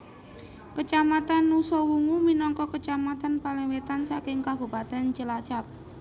Kacamatan Nusawungu minangka kacamatan paling wetan saking kabupatèn Cilacap